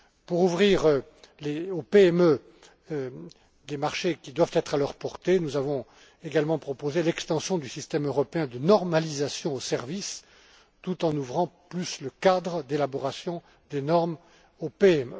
Pour ouvrir aux PME des marchés qui doivent être à leur portée, nous avons également proposé l'extension du système européen de normalisation aux services, tout en ouvrant davantage le cadre d'élaboration des normes aux